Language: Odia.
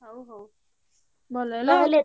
ହଉ ହଉ ଭଲ ହେଲା